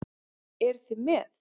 Eruð þið með?